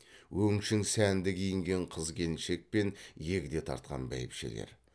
өңшең сәнді киінген қыз келіншек пен егде тартқан бәйбішелер